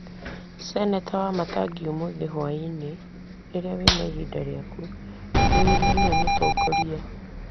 Seneta Wamatangi, ũmũthĩ hwaĩinĩ rĩrĩa ũrĩ na ihinda rĩaku, wĩyũrie nũũ mũtongoria wa;